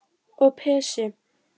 Og Pési